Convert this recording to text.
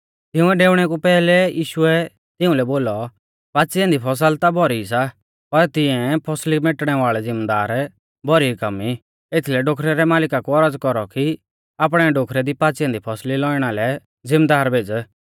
तिउंरै डेउणै कु पैहलै यीशुऐ तिउंलै बोलौ पाच़ी ऐन्दी फसल ता भौरी सी पर तिऐं फसली मेटणे वाल़ै ज़िमदार भौरी कम ई एथीलै डोखरै रै मालिका कु औरज़ कौरौ कि आपणै डोखरै दी पाच़ी ऐन्दी फसली लौइणा लै ज़िमदार भेज़